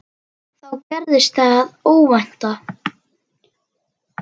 Þá gerðist það óvænta.